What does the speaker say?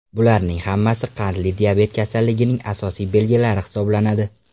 Bularning hammasi qandli diabet kasalligining asosiy belgilari hisoblanadi.